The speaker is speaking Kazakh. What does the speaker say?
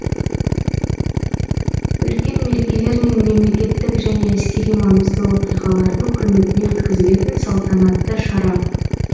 үлкен мерекелер мен мемлекеттік және әскери маңызды оқиғалардың құрметіне өткізілетін салтанатты шара